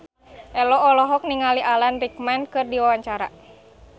Ello olohok ningali Alan Rickman keur diwawancara